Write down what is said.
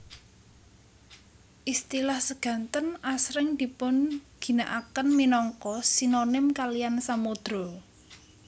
Istilah seganten asring dipun ginakaken minangka sinonim kaliyan samodra